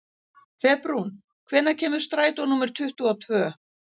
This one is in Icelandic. Febrún, hvenær kemur strætó númer tuttugu og tvö?